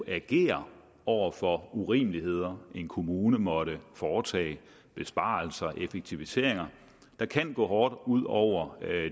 agere over for urimeligheder en kommune måtte foretage besparelser effektiviseringer der kan gå hårdt ud over